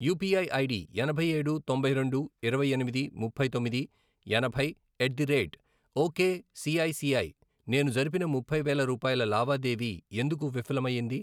UPI ID ఎనభై ఏడు, తొంభై రెండు, ఇరవై ఎనిమిది, ముప్పై తొమ్మిది, ఎనభై, ఎట్ ది రేట్ ఒకేసిఐసిఐ నేను జరిపిన ముప్పై వేల రూపాయల లావాదేవీ ఎందుకు విఫలం అయ్యింది?